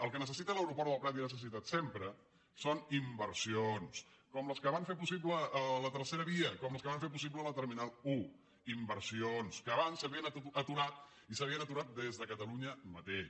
el que necessita l’aeroport del prat i ha necessitat sempre són inversions com les que van fer possible la tercera via com les que van fer possible la terminal un inversions que abans s’havien aturat i s’havien aturat des de catalunya mateix